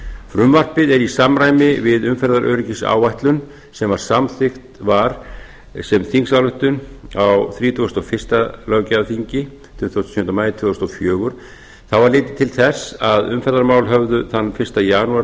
frumvarpið er í samræmi við umferðaröryggisáætlun sem samþykkt var sem þingsályktun á hundrað þrítugasta og fyrsta löggjafarþingi tuttugasta og sjöunda ár tvö þúsund og fjögur þá var litið til þess að umferðarmál höfðu þann fyrsta janúar